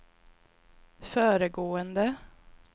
föregående